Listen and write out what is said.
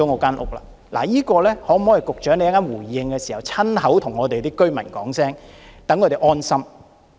就這一點，能否請局長在稍後回應時親口對居民解釋一下，讓他們安心？